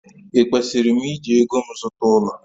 Ekwesịrị m iji ego m zụta ụlọ?